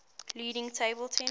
leading table tennis